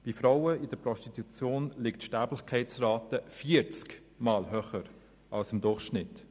Bei Frauen in der Prostitution liegt die Sterblichkeitsrate vierzigmal über dem Durchschnitt.